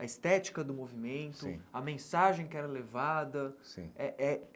a estética do movimento, a mensagem que era levada eh eh.